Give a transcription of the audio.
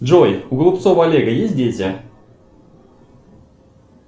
джой у голубцова олега есть дети